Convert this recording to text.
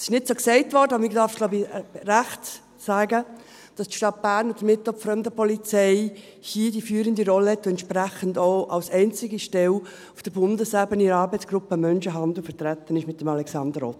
Es wurde nicht so gesagt, aber man darf, glaube ich, zu Recht sagen, dass die Stadt Bern und damit auch die Fremdenpolizei hier die führende Rolle hat und entsprechend auch als einzige Stelle auf Bundesebene in der Arbeitsgruppe Menschenhandel vertreten ist, mit Alexander Ott.